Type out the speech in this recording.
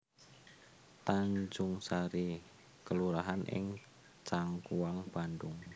Tanjungsari kelurahan ing Cangkuang Bandhung